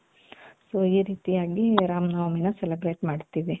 so ಈ ರೀತಿಯಾಗಿ ರಾಮನವಮಿನ celebrate ಮಾಡ್ತೀವಿ.